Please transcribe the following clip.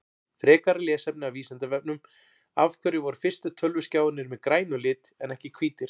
Frekara lesefni af Vísindavefnum Af hverju voru fyrstu tölvuskjáirnir með grænum lit en ekki hvítir?